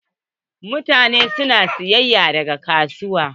Mutane na sayayya daga kasuwa.